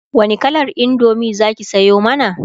wani kalar indomie zaki Sayo mana?